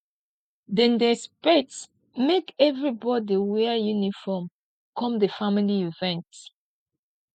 dem dey expect make everybodi wear uniform come di family event